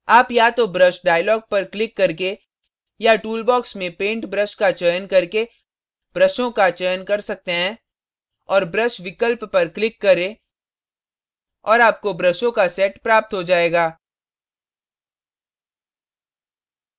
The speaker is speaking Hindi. आप या तो brush dialog पर click करके या tool box में set brush का चयन करके ब्रशों का चयन कर सकते हैं और brush विकल्प पर click करें और आपको ब्रशों का set प्राप्त हो जाएगा